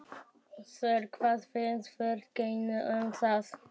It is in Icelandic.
Þór: Hvað finnst fyrirtækinu um það?